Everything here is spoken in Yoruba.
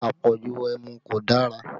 Àpọ̀jù ẹmu kò dára